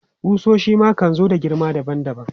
Ƙusoshi su ma kan zo bisa girma daban daban.